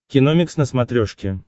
киномикс на смотрешке